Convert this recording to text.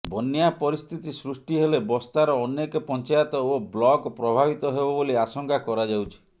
ବନ୍ୟା ପରିସ୍ଥିତି ସୃଷ୍ଟି ହେଲେ ବସ୍ତାର ଅନେକ ପଞ୍ଚାୟତ ଓ ବ୍ଲକ ପ୍ରଭାବିତ ହେବ ବୋଲି ଆଶଙ୍କା କରାଯାଉଛି